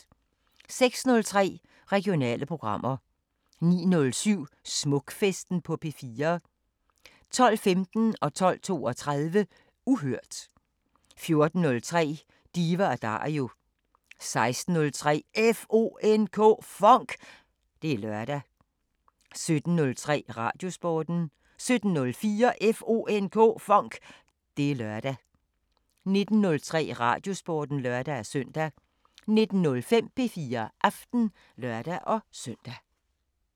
06:03: Regionale programmer 09:07: Smukfesten på P4 12:15: Uhørt 12:32: Uhørt 14:03: Diva & Dario 16:03: FONK! Det er lørdag 17:03: Radiosporten 17:04: FONK! Det er lørdag 19:03: Radiosporten (lør-søn) 19:05: P4 Aften (lør-søn)